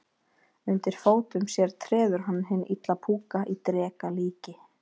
Undir fótum sér treður hann hinn illa púka í dreka líki.